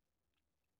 DR1